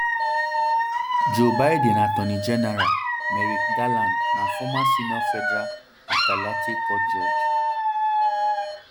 joe biden attorney general merrick garland na former senior federal appellate court judge